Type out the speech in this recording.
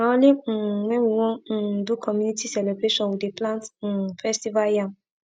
na only um wen we wan um do community celebration we dey plant um festival yam